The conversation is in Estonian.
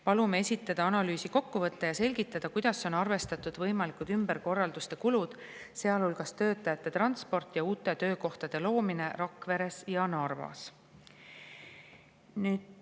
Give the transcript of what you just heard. Palume esitada analüüsi kokkuvõte ja selgitada, kuidas on arvestatud võimalikud ümberkorralduste kulud, sealhulgas töötajate transport ja uute töökohtade loomine Rakveres ja Narvas.